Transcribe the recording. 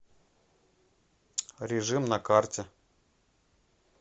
режим на карте